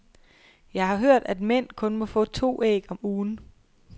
Jeg har hørt, at mænd kun må få to æg om ugen.